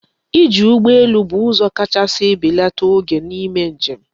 Iji ụgbọ elu bụ ụzọ kachasị ebelata oge n'ime njem.